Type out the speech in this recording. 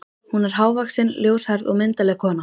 Hún er hávaxin, ljóshærð og myndarleg kona.